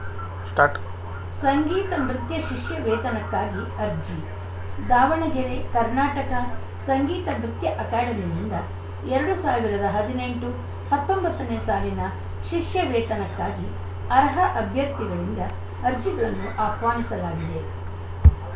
start ಸಂಗೀತ ನೃತ್ಯ ಶಿಷ್ಯವೇತನಕ್ಕಾಗಿ ಅರ್ಜಿ ದಾವಣಗೆರೆ ಕರ್ನಾಟಕ ಸಂಗೀತ ನೃತ್ಯ ಅಕಾಡೆಮಿಯಿಂದ ಎರಡ್ ಸಾವಿರದ ಹದಿನೆಂಟು ಹತ್ತೊಂಬತ್ತನೇ ಸಾಲಿನ ಶಿಷ್ಯವೇತನಕ್ಕಾಗಿ ಅರ್ಹ ಅಭ್ಯರ್ಥಿಗಳಿಂದ ಅರ್ಜಿಗಳನ್ನು ಆಹ್ವಾನಿಸಲಾಗಿದೆ